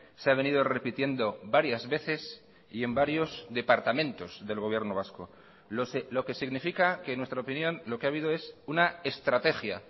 se ha venido repitiendo varias veces y en varios departamentos del gobierno vasco lo que significa que en nuestra opinión lo que ha habido es una estrategia